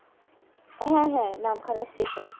হ্যা হ্যা নামখানা station